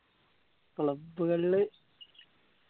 club കളില്